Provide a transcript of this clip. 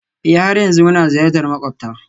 Ee, har yanzu muna ziyartar makwabta